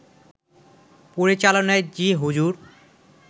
পরিচালনায় 'জি হুজুর'